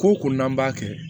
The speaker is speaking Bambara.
Ko o ko n'an b'a kɛ